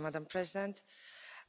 Madam President,